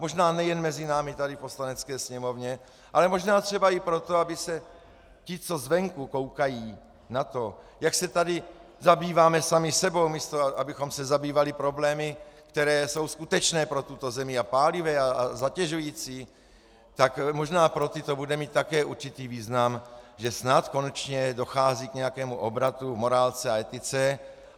Možná nejen mezi námi tady v Poslanecké sněmovně, ale možná třeba i proto, aby se ti, co zvenku koukají na to, jak se tady zabýváme sami sebou, místo abychom se zabývali problémy, které jsou skutečné pro tuto zemi a pálivé a zatěžující, tak možná pro ty to bude mít také určitý význam, že snad konečně dochází k nějakému obratu, morálce a etice.